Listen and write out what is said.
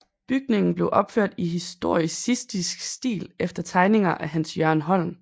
Bygningen blev opført i historicistisk stil efter tegninger af Hans Jørgen Holm